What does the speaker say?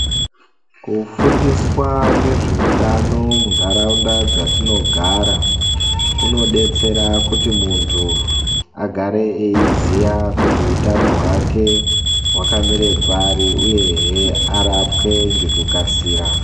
Kufundiswa ngezveutano munharaunda dzatinogara, kunobetsera kuti muntu agare eiziya kuti hutano hwake hwakamire pari, uyehe arapwe ngekukasira.